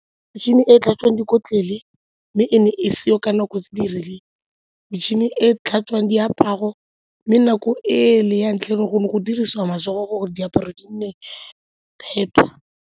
Metšhini e e tlhatswang dikotlele mme e ne e seo ka nako tse di rileng, metšhini e e tlhatswang diaparo mme nako e le ya ntlha e e leng gore go ne go dirisiwa matsogo gore diaparo di nne phepa.